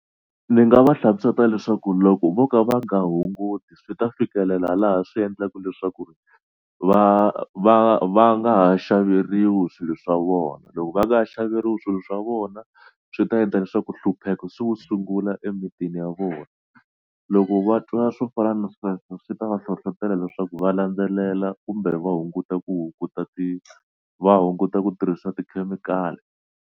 Ndzi nga va hlamusela leswaku loko vo ka va nga hunguti swi ta fikelela laha swi endlaka leswaku ri va va va nga ha xaveriwa swilo swa vona. Loko va nga ha xaveriwa swilo swa vona swi ta endla leswaku nhlupheko se wu sungula emitini ya vona. Loko va twa swo fana na sweswo swi ta va hlohlotelo leswaku va landzelela kumbe va hunguta ku ti va hunguta ti va hunguta ku tirhisa tikhemikhali.